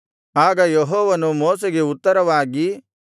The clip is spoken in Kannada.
ಆಗ ಯೆಹೋವನು ಮೋಶೆಗೆ ಉತ್ತರವಾಗಿ